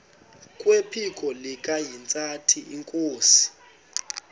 kwephiko likahintsathi inkosi